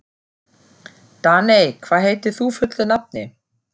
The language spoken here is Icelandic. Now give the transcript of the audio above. Daney, hvað heitir þú fullu nafni?